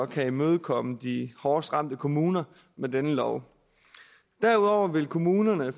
kan imødekomme de hårdest ramte kommuner med denne lov derudover vil kommunerne